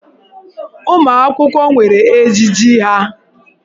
Ụmụ akwụkwọ nwere ejiji ha.